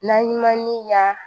N'an ye maninka